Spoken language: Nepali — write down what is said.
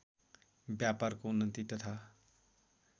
व्यापारको उन्नति तथा